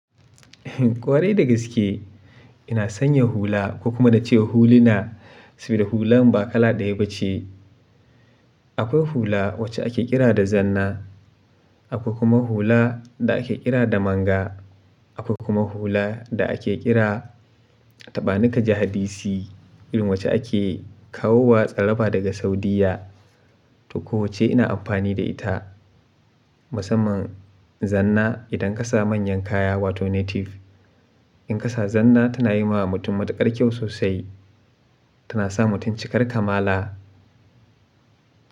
Kwarai da gaske ina sanya hula ko kuma na ce huluna saboda hulan ba kala ɗaya ba ce. Akwai hula wacce ake kira da zanna, akwai kuma hula da ake kira da manga, akwai kuma hula da ake kira tabanika jahadisi irin wacce ake kawo wa tsaraba daga Saudiyya to wace ina amfani da ita. Musamman zanna idan ka sa manyan kaya wato native. In ka sa zanna tana yi ma mutum matuƙar kyau sosai, tana sa mutum cikar kamala.